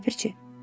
Ləpirçi.